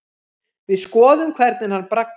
Við skoðum hvernig hann braggast.